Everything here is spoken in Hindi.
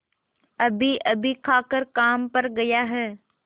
अभीअभी खाकर काम पर गया है